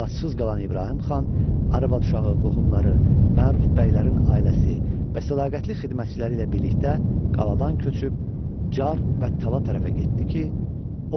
Əlacısız qalan İbrahim xan arvad-uşağı, qohumları, məruf bəylərin ailəsi və sədaqətli xidmətçiləri ilə birlikdə qaladan köçüb Çar və Tala tərəfə getdi ki,